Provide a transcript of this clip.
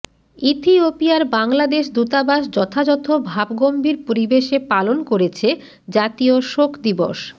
ইথিওপিয়ার বাংলাদেশ দূতাবাস যথাযথ ভাবগম্ভীর পরিবেশে পালন করেছে জাতীয় শোক দিবস